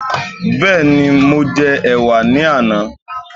Bẹ́ẹ̀ni, mo jẹ ẹ̀wà ní àná